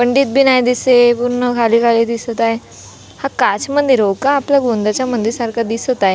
पंडित बी नाही दिसे पूर्ण झाडी झाडी दिसत आहे हा काच का निरोखा आपल्या गोंदाच्या मंदिरा सारख दिसत आहे हो.